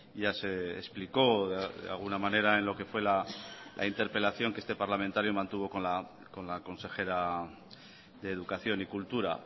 ya se explicó de alguna manera en lo que fue la interpelación que este parlamentario mantuvo con la consejera de educación y cultura